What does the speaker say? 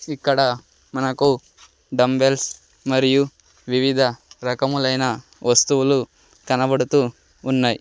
ఇక్కడ మనకు డంబెల్స్ మరియు వివిధ రకములైన వస్తువులు కనబడుతువున్నాయ్.